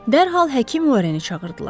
Dərhal həkim Warreni çağırdılar.